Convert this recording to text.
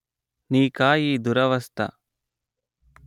నీకా ఈ దురవస్థ